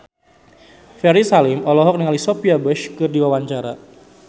Ferry Salim olohok ningali Sophia Bush keur diwawancara